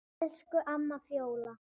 Elsku Fjóla amma.